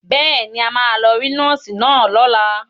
Bẹ́ẹ̀ ni, a máa lọ rí nọ́ọ́sì náà lọ́la.